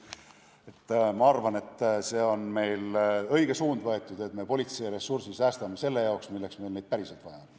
Ma arvan, et oleme võtnud õige suuna, kui säästame politsei ressursi selle jaoks, milleks meil neid päriselt vaja on.